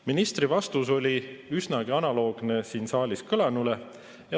Ministri vastus oli analoogne siin saalis kõlanuga.